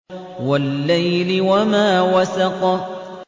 وَاللَّيْلِ وَمَا وَسَقَ